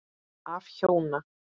Af hjóna